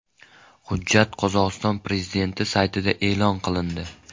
Hujjat Qozog‘iston prezidenti saytida e’lon qilindi .